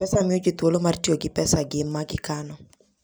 M-Pesa miyo ji thuolo mar tiyo gi pesagi ma gikano.